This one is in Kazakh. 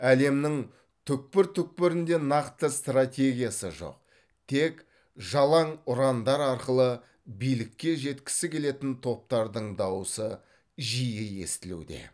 әлемнің түкпір түкпірінде нақты стратегиясы жоқ тек жалаң ұрандар арқылы билікке жеткісі келетін топтардың дауысы жиі естілуде